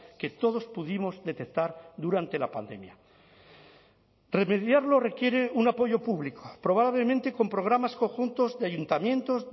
que todos pudimos detectar durante la pandemia remediarlo requiere un apoyo público probablemente con programas conjuntos de ayuntamientos